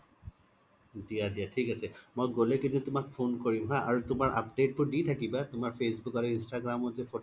দিয়া দিয়া থিক আছে মই গ্'লে কিন্তু তুমাক phone কৰিম হা আৰু তুমাৰ update বোৰ দি থাকিবা তুমাৰ facebook আৰু instagram ত যে photo বোৰ